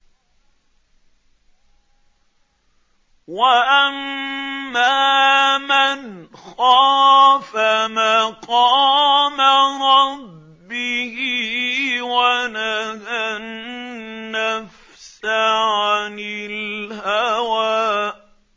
وَأَمَّا مَنْ خَافَ مَقَامَ رَبِّهِ وَنَهَى النَّفْسَ عَنِ الْهَوَىٰ